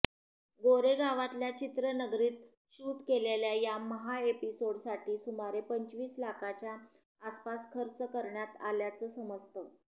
गोरेगावातल्या चित्रनगरीत शूट केलेल्या या महाएपिसोडसाठी सुमारे पंचवीस लाखाच्या आसपास खर्च करण्यात आल्याचं समजतं